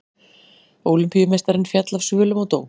Ólympíumeistarinn féll af svölum og dó